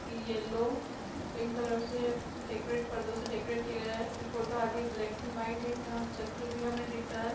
Yellow pink colour से decorate पर्दों से डेकोरेट किया गया है। ये फोटो आधी ब्लैक एंड वाइट है जहां से चक्र भी हमें दिख रहा है।